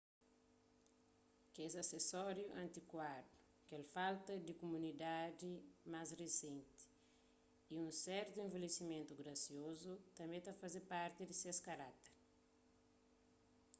kes asesóriu antikuadu kel falta di komodidadi más risenti y un sertu envelhesimentu grasiozu tanbê ta faze parti di ses karákter